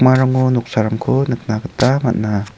uarango noksarangko nikna gita man·a.